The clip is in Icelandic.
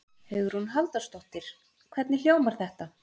Hugrún Halldórsdóttir: Hvernig hljómar þetta?